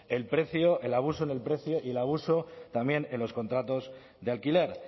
el precio el abuso en el precio y el abuso también en los contratos de alquiler